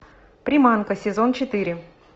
приманка сезон четыре